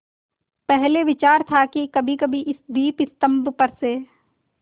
पहले विचार था कि कभीकभी इस दीपस्तंभ पर से